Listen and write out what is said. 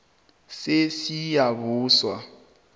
sesiyabuswa